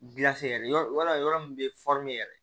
Gilasi yɛrɛ yɔrɔ wala yɔrɔ min bɛ yɛrɛ